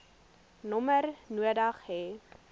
nommer nodig hê